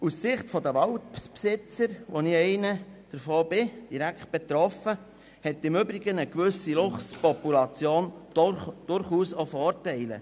Aus Sicht der Waldbesitzer, und zu diesen gehöre ich auch und bin also direkt betroffen, hat eine gewisse Luchspopulation im Übrigen durchaus auch Vorteile.